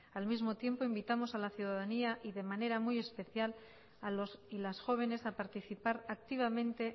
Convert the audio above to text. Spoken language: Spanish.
al mismo tiempo invitamos a la ciudadanía y de manera muy especial a los y las jóvenes a participar activamente